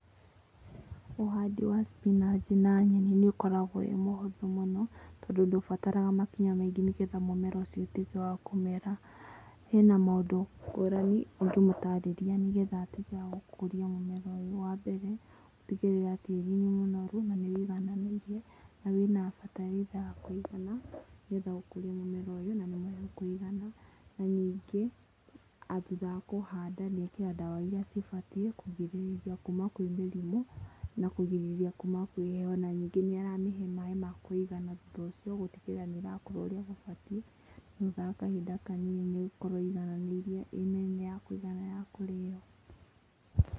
Ũhandĩ wa spinach na nyeni nĩ ũkoragwo wĩ mũhũthũ mũno, tondũ ndũbataraga makinya maingĩ nĩgetha mũmera ũcio ũtuĩke wa kũmera. Hena maũndũ ngũrani ũngĩmũtarĩria nĩgetha atuĩke wa gũkũria mũmera ũyũ, wa mbere, gũtigĩrĩra tĩri nĩ mũnoru, na nĩ ũigananĩirie, na wĩna bataraitha ya kũigana, nĩgetha gũkũria mũmera ũyũ. Na ningĩ, thutha wa kũhanda hena ndawa iria vibatiĩ kũgirĩrĩria kuuma kwĩmĩrimũ, na kũgirĩrĩria kuuma kwĩheho. Ona ningĩ nĩ ũramĩhe maaĩ makũigana, gũtigĩrĩra nĩ ĩrakũra ũrĩa gũbatiĩ, thutha wa kahinda kanini nĩ ĩgũkorwo ĩiganĩirie, ina hinya, kũigana ya kũrio.